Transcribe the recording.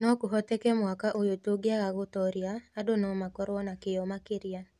No kũhoteke mwaka ũyũ tũngĩaga gũtooria, andũ no makorũo na kĩyo makĩria".